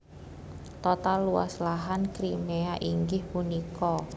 Total luas lahan Crimea inggih punika